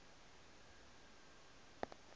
kwepitori